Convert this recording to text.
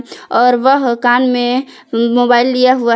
और वह कान में मोबाइल लिया हुआ है।